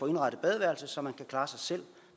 indrettet badeværelset så man kan klare sig selv og